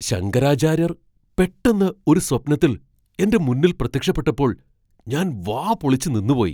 ശങ്കരാചാര്യർ പെട്ടെന്ന് ഒരു സ്വപ്നത്തിൽ എൻ്റെ മുന്നിൽ പ്രത്യക്ഷപ്പെട്ടപ്പോൾ ഞാൻ വാ പൊളിച്ച് നിന്നുപോയി.